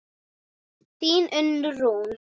Þín Unnur Rún.